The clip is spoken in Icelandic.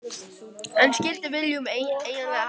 En hvað skildi Willum eiginlega hafa sagt?